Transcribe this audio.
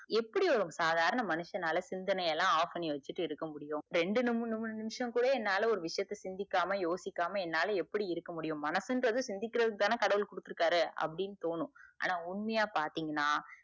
எப்டி ஒரு சாதாரண மனிஷனால சிந்தனையலா off பண்ணி வச்சிட்டு இருக்க முடியும் ரெண்டு மூன்னு நிமிஷம் கூட என்னால ஒரு விஷயத்த சிந்திக்காம யோசிக்காம என்னால எப்டி இருக்க முடியும் மன்சுன்ரது சிந்திக்கரதுக்கு தான கடவுள் கொடுத்து இருக்காரு அப்டின்னு தோணும் ஆனா உண்மையா பாத்திங்கனா